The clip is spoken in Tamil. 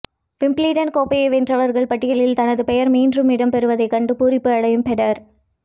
விம்பிள்டன் கோப்பையை வென்றவர்கள் பட்டியலில் தனது பெயர் மீண்டும் இடம்பெறுவதை கண்டு பூரிப்பு அடையும் பெடரர்